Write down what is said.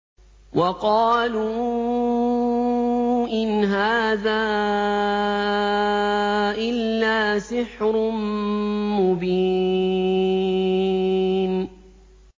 وَقَالُوا إِنْ هَٰذَا إِلَّا سِحْرٌ مُّبِينٌ